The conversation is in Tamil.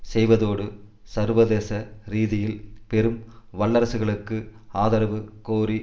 செய்வதோடு சர்வதேச ரீதியில் பெரும் வல்லரசுகளுக்கு ஆதரவு கோரி